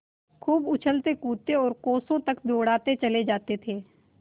खूब उछलतेकूदते और कोसों तक दौड़ते चले जाते थे